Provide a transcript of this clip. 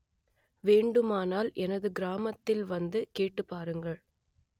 வேண்டுமானால் எனது கிராமத்தில் வந்து கேட்டுப் பாருங்கள்